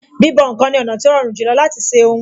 Bíbọ̀ ǹkan ni ọ̀nà tí ó rọrùn jùlọ láti ṣe ohun